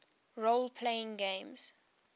role playing games